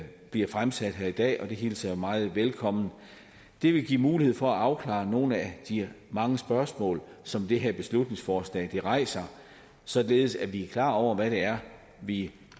bliver fremsat her i dag og det hilser jeg meget velkommen det vil give mulighed for at afklare nogle af de mange spørgsmål som det her beslutningsforslag rejser således at vi er klar over hvad det er vi